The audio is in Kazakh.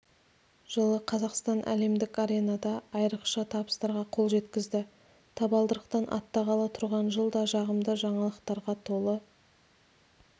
жылы қазақстан әлемдік аренада айрықша табыстарға қол жеткізді табалдырықтан аттағалы тұрған жыл да жағымды жаңалықтарға толы